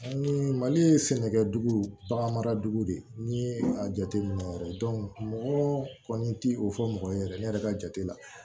Ni mali ye sɛnɛkɛ dugu baganmara dugu de ye n'i ye a jateminɛ yɛrɛ mɔgɔ kɔni ti o fɔ mɔgɔ ye yɛrɛ ne yɛrɛ ka jate la